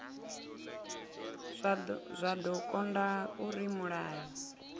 zwa do konda uri mulayo